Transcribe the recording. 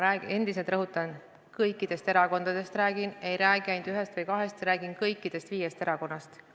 Ma endiselt rõhutan: ma räägin kõikidest erakondadest, ei räägi ainult ühest või kahest, ma räägin kõigist viiest erakonnast.